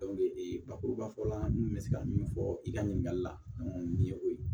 ee bakuruba fɔla n kun bɛ se ka min fɔ i ka ɲininkali la nin ye o ye